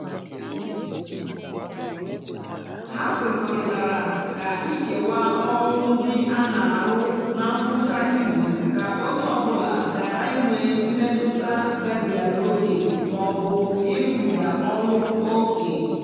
ha kwekọrịtara ka ikewaa ọlụ ndị a na-arụ ná ngwụcha izu ka onye ọ bụla ghara inwe mmetụta gabigara ókè ma ọ bụ ịrụbiga ọlụ ókè.